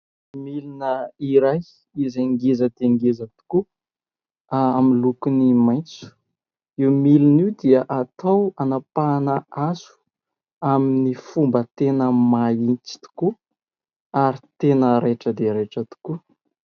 Milina iray izay ngeza dia ngeza tokoa amin'ny lokony maitso, io milina io dia atao hanapahana hazo amin'ny fomba tena mahitsy tokoa ary tena raitra dia raitra tokoa.